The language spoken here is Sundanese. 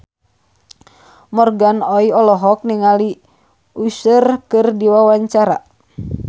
Morgan Oey olohok ningali Usher keur diwawancara